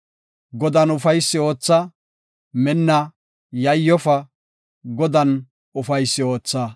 Godan ufaysi ootha; minna, yayyofa; Godan ufaysi ootha.